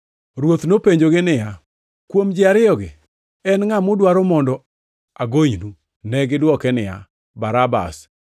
Ruoth nopenjogi niya, “Kuom ji ariyogi, en ngʼa mudwaro mondo agonynu?” Negidwoke niya, “Barabas.”